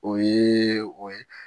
O ye o ye